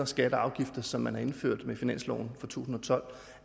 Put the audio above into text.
skatter og afgifter som man har indført med finansloven for to tusind og tolv